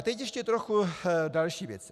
A teď ještě trochu další věci.